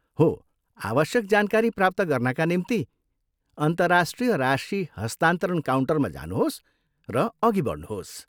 हो, आवश्यक जानकारी प्राप्त गर्नाका निम्ति अन्तर्राष्ट्रिय राशि हस्तान्तरण काउन्टरमा जानुहोस् र अघि बढ्नुहोस्।